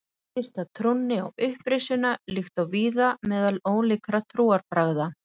Tengist það trúnni á upprisuna líkt og víða meðal ólíkra trúarbragða.